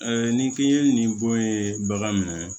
ni k'i ye nin bɔ ye bagan min